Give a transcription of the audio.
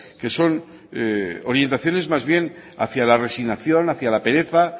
que son orientaciones más bien hacia la resignación hacia la pereza